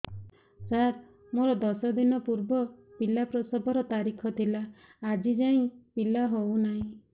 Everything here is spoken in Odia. ସାର ମୋର ଦଶ ଦିନ ପୂର୍ବ ପିଲା ପ୍ରସଵ ର ତାରିଖ ଥିଲା ଆଜି ଯାଇଁ ପିଲା ହଉ ନାହିଁ